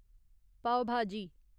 पाव भाजी